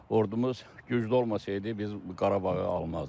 Ordumuz güclü olmasaydı biz Qarabağı almazdıq.